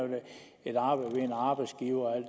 et arbejde ved en arbejdsgiver og